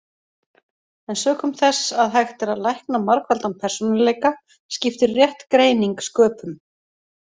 En sökum þess að hægt er að lækna margfaldan persónuleika skiptir rétt greining sköpum.